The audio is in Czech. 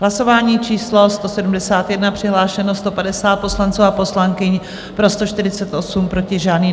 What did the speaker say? Hlasování číslo 171, přihlášeno 150 poslanců a poslankyň, pro 148, proti žádný.